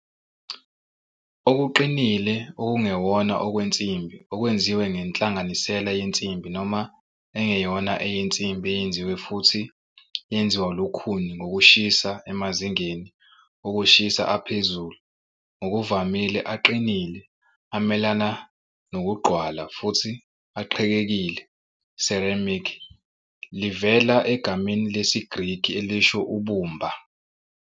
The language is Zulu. Okuqinile okungewona okwensimbi okwenziwe ngenhlanganisela yensimbi noma engeyona eyensimbi eyenziwe futhi yenziwa lukhuni ngokushisa emazingeni okushisa aphezulu. Ngokuvamile, aqinile, amelana nokugqwala futhi aqhekekile. Ceramic livela egameni lesiGreki elisho 'ubumba'.